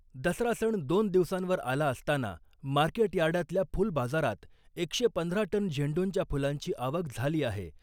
दसरा सण दोन दिवसांवर आला असताना मार्केट यार्डातल्या फुल बाजारात एकशे पंधरा टन झेंडूच्या फुलांची आवक झाली आहे .